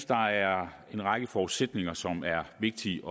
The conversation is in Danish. der er en række forudsætninger som er vigtige